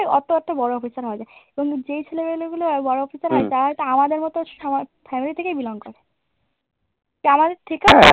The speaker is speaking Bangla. ওতো এত এত বড় হইতে পাড়ে এবং যেই ছেলেগুলো আর বড় অফিসার হয় তারা তো আমাদের মতো family থেকেই belong করে